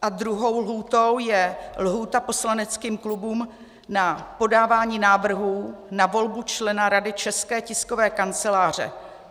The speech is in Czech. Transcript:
A druhou lhůtou je lhůta poslaneckým klubům na podávání návrhů na volbu člena Rady České tiskové kanceláře.